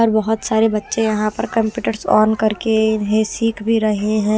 और बहुत सारे बच्चे यहां पर कंप्यूटर्स ऑन करके इन्हें सीख भी रहे हैं।